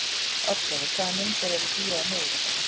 Oddleifur, hvaða myndir eru í bíó á miðvikudaginn?